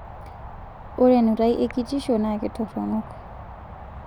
Ore enutai e kitisho naa kitoronok